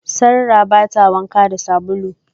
Sarrah ba ta wanka da sabulu.